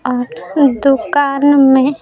और दुकान में--